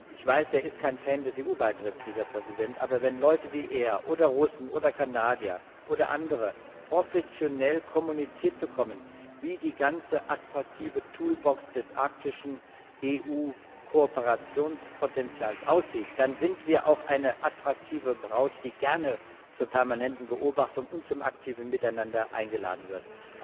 Ich weiß, dieser Präsident ist kein Fan des EU Beitritts, aber wenn Leute wie er oder Russen oder Kanadier oder andere professionell kommuniziert bekommen, wie die ganze attraktive Toolbox des arktischen EU Kooperationspotenzials aussieht, dann sind wir auch eine attraktive Braut, die gerne zur permanenten Beobachtung und zum aktiven Miteinander eingeladen wird.